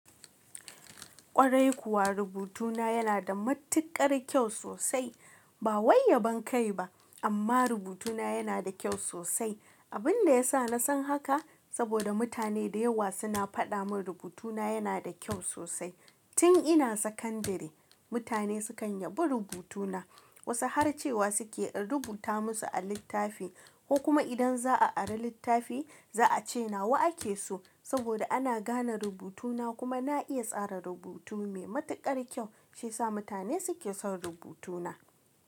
Ƙwarai kuwa, rubutuna yana da matuƙar kyau sosai. Ba wai yabon ban kai ba amma rubutuna yana da kyau sosai. Abin da ya sa na san haka saboda mutane da yawa suna faɗa mun rubutuna yana da kyau sosai. Tin ina sakandare mutane sukan yabi rubutuna. Wasu har cewa suke in rubuta musu a littafi ko kuma idan za'a ara littafi, za a ce nawa ake so saboda ana gane rubutuna kuma na iya tsara rubutu mai matuƙar kyau. Shi ya sa mutane suke son rubutuna.